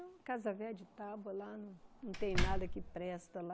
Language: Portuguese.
É uma casa velha de tábua lá, não não tem nada que presta lá.